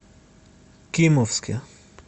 кимовске